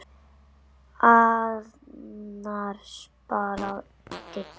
Annars bara Didda.